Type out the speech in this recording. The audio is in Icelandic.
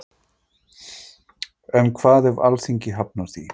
En hvað ef Alþingi hafnar því?